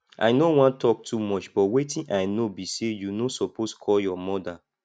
i no wan talk too much but wetin i know be say you no suppose call your mother